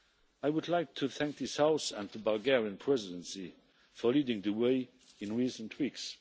I would like to thank this House and the Bulgarian Presidency for leading the way in recent weeks.